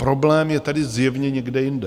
Problém je tedy zjevně někde jinde.